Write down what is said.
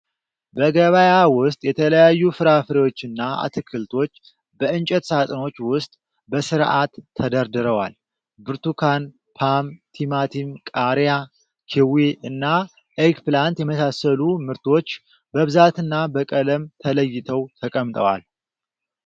በገበያ ውስጥ የተለያዩ ፍራፍሬዎችና አትክልቶች በእንጨት ሳጥኖች ውስጥ በሥርዓት ተደርድረዋል። ብርቱካን፣ ፖም፣ ቲማቲም፣ ቃሪያ፣ ኪዊ እና ኤግፕላንት የመሳሰሉ ምርቶች በብዛትና በቀለም ተለይተው ተቀምጠዋል።